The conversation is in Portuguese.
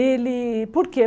Ele... Por quê?